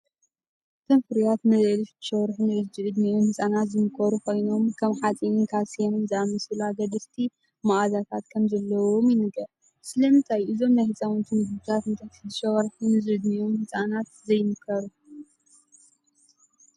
እቶም ፍርያት ንልዕሊ 6 ወርሒ ንዝዕድሚኦም ህጻናት ዝምከሩ ኮይኖም፡ ከም ሓጺንን ካልሲየምን ዝኣመሰሉ ኣገደስቲ መኣዛታት ከም ዘለዎም ይንገር። ስለምንታይ እዞም ናይ ህጻናት መግብታት ንትሕቲ 6 ወርሒ ንዝዕድሚኦም ህጻናት ዘይምከሩ?